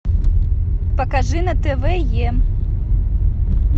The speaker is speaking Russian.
покажи на тв е